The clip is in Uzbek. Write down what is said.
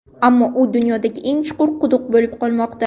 Ammo u dunyodagi eng chuqur quduq bo‘lib qolmoqda.